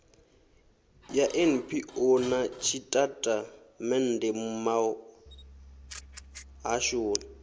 ya npo na tshitatamennde muhashoni